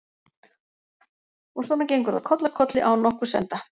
Og svona gengur það koll af kolli án nokkurs enda.